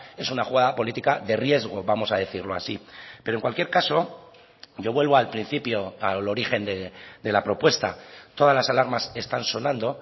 es una jugada política de riesgo vamos a decirlo así pero en cualquier caso yo vuelvo al principio al origen de la propuesta todas las alarmas están sonando